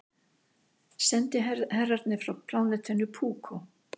Sendiherrarnir frá plánetunni Púkó.